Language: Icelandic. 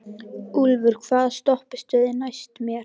Úlfur, hvaða stoppistöð er næst mér?